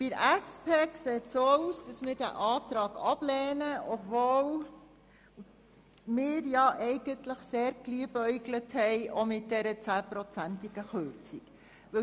Bei der SP-JUSO-PSA-Fraktion sieht es so aus, dass sie diesen Antrag ablehnt, obwohl wir eigentlich sehr mit der Kürzung um 10 Prozent geliebäugelt haben.